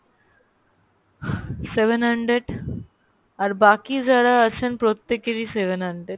আহ seven hundred আর বাকি যারা আছেন প্রত্যেকেরই seven hundred